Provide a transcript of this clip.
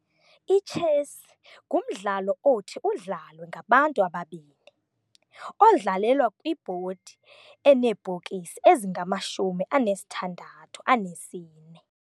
Itshesi ngumdlalo othi udlalwe ngabantu ababini, odlalelwa kwibhodi enebhokisi ezingamashumi anesithandathu anesine.